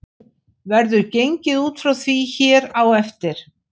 Verður gengið út frá því hér á eftir.